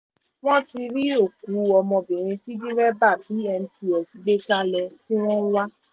wọ́n ti rí òkú ọmọbìnrin tí dẹ́rẹ́bà bmts gbé sá lọ tí wọ́n ń wá